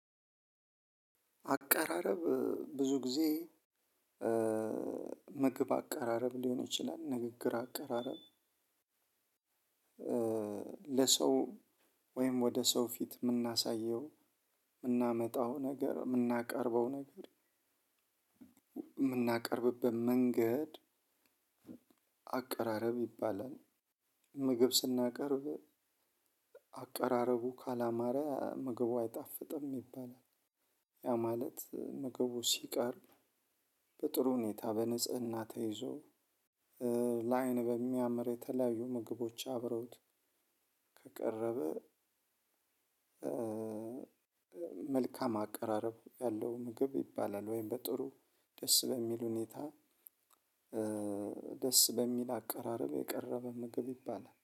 አቀራረብ ብዙ ጊዜ ምግብ አቀራረብ ሊሆን ይችላል ንግግር አቀራረብ። ለሰው ወይም ወደ ሰው ፊት የምናሳየው የምናመጣው ነገር የምናቀርበው ነገር የምናቀርብበት መንገድ አቀራረብ ይባላል። ምግብ ስናቀርብ አቀራረቡ ካላማረ ምግቡ አይጣፍጥም ይባላል። ያ ማለት ምግቡ ሲቀርብ በጥሩ ሁኔታ በንጽህና ተይዞ ለአይን በሚያምር የተለያዩ ምግቦች አብረውት ከቀረበ። መልካም አቀራረብ ያለው ምግብ ይባላል። ወይም በጥሩ ደስ በሚል ሁኔታ ደስ በሚል አቀራረብ የቀረበ ምግብ ይባላል